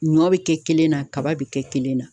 Ɲɔ bi kɛ kelen na, kaba be kɛ kelen na.